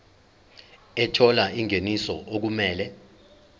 ethola ingeniso okumele